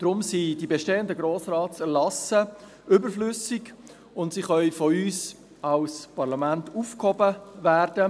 Deshalb sind die bestehenden Erlasse des Grossen Rates überflüssig, und sie können von uns als Parlament aufgehoben werden.